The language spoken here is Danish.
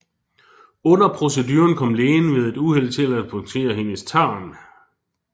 Under proceduren kom lægen ved et uheld til at punktere hendes tarm